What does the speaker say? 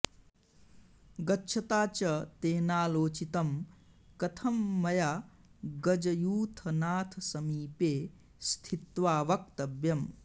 गच्छता च तेनालोचितं कथं मया गजयूथनाथसमीपे स्थित्वा वक्तव्यम्